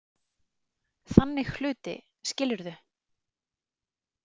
Þannig hluti, skilurðu?